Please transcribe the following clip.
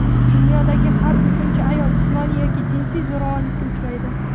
Dunyodagi har uchinchi ayol jismoniy yoki jinsiy zo‘ravonlikka uchraydi.